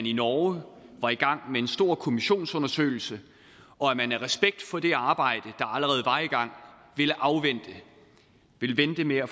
i norge var i gang med en stor kommissionsundersøgelse og at man af respekt for det arbejde i gang ville afvente ville vente med at